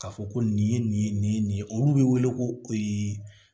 Ka fɔ ko nin ye nin ye nin ye nin ye olu bɛ wele ko